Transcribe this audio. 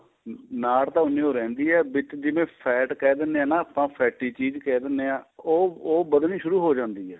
ਅਹ ਨਾੜ ਤਾਂ ਉੰਨੀ ਓ ਰਹਿੰਦੀ ਏ ਵਿੱਚ ਜਿਵੇਂ fat ਕਹਿ ਦਿੰਦੇ ਆ ਨਾ ਆਪਾਂ fatty ਚੀਜ਼ ਕਹਿ ਦਿੰਨੇ ਆਂ ਉਹ ਉਹ ਵੱਧਣੀ ਸ਼ੁਰੂ ਹੋ ਜਾਂਦੀ ਏ